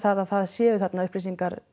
að það séu þarna upplýsingar